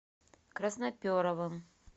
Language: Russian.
красноперовым